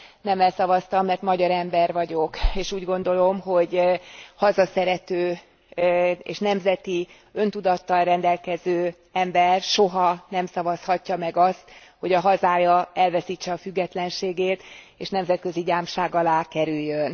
Nemmel szavaztam, mert magyar ember vagyok, és úgy gondolom, hogy hazaszerető és nemzeti öntudattal rendelkező ember soha nem szavazhatja meg azt, hogy a hazája elveszítse a függetlenségét és nemzetközi gyámság alá kerüljön.